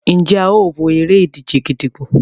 Njé a o wọ èrè-ìdíje gídígbò?